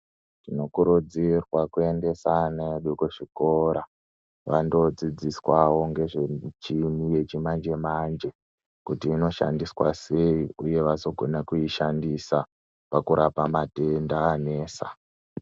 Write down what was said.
Tinokurudzirwa kuendesa ana edu kuzvikora vandoodzidziswawo ngezve muchini yechimanje manje kuti inoshandiswa sei uye vazokona kuishandisa pakurapa matenda anesa .